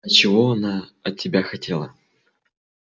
а чего она от тебя хотела